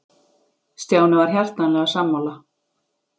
Stjáni var hjartanlega sammála.